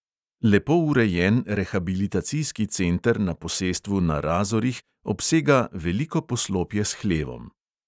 Lepo urejen rehabilitacijski center na posestvu na razorih obsega veliko poslopje s hlevom.